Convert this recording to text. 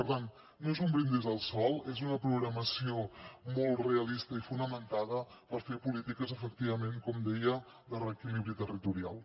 per tant no és un brindis al sol és una programació molt realista i fonamentada per fer polítiques efectivament com deia de reequilibri territorial